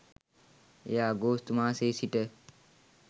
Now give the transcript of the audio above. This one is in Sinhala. එය අගෝස්තු මාසයේ සිට